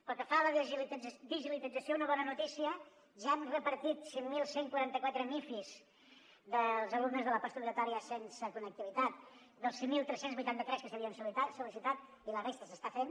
pel que fa a la digitalització una bona notícia ja hem repartit cinc mil cent i quaranta quatre mifis dels alumnes de la postobligatòria sense connectivitat dels cinc mil tres cents i vuitanta tres que s’havien sol·licitat i la resta s’està fent